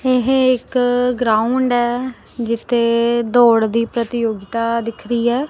ਇਹ ਇੱਕ ਗਰਾਊਂਡ ਹੈ ਜਿੱਥੇ ਦੌੜ ਦੀ ਪ੍ਰਤੀਯੋਗਤਾ ਦਿਖ ਰਹੀ ਹੈ।